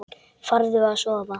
Farðu að sofa.